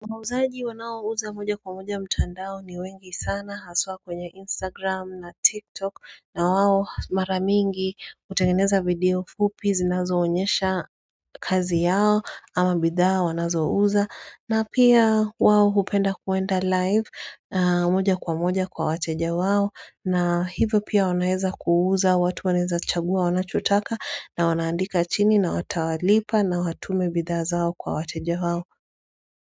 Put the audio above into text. Wauzaji wanao uza moja kwa moja mtandao ni wengi sana haswa kwenye instagram na tiktok na wao mara mingi hutengeneza video fupi zinazoonyesha kazi yao ama bidhaa wanazo uza na pia wao hupenda kuenda live moja kwa moja kwa wateja wao na hivyo pia wanaeza kuuza, watu wanaweza chagua wanachotaka na wanaandika chini na watawalipa na watume bidhaa zao kwa wateja wao.